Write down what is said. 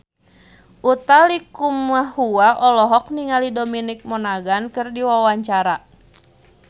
Utha Likumahua olohok ningali Dominic Monaghan keur diwawancara